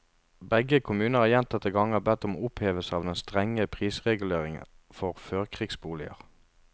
Begge kommuner har gjentatte ganger bedt om opphevelse av den strenge prisreguleringen for førkrigsboliger.